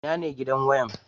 Ina ne gidan waya?